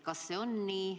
Kas see on nii?